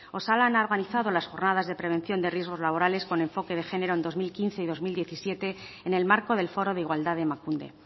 osalan ha organizado las jornadas de prevención de riesgos laborales con enfoque de género en dos mil quince y dos mil diecisiete en el marco del foro de igualdad de emakunde